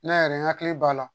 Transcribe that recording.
N'a yɛrɛ n hakili b'a la